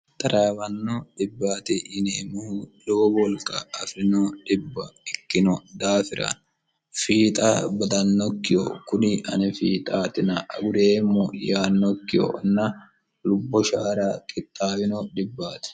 xaraawanno dhibbat yineemmohu lowo wolqa afi'rino dhibba ikkino daafira fiixa badannokkiho kuni anifiixaatina agureemmo yaannokkihona lubbo shaara qixaawino dhibbaati